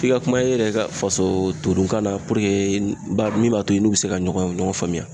F'i ka kuma e yɛrɛ ka faso todunkan na min b'a to i n'u bɛ se ka ɲɔgɔn ɲɔgɔn faamuya.